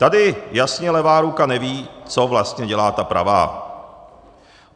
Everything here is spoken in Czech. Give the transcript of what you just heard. Tady jasně levá ruka neví, co vlastně dělá ta pravá.